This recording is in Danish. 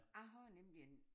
Jeg har nemlig en